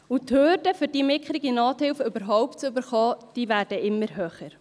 Und die Hürden, um diese mickrige Nothilfe überhaupt zu erhalten, diese werden immer höher.